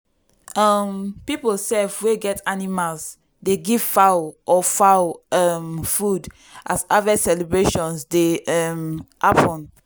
um people sef wey get animals dey give fowl or fowl um food as harvest celebrations dey um happen.